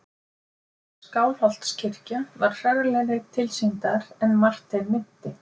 Skálholtskirkja var hrörlegri tilsýndar en Martein minnti.